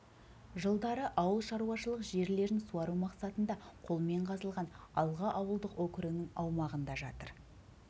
жылдары ауыл шаруашылық жерлерін суару мақсатында қолмен қазылған алға ауылдық округінің аумағында жатыр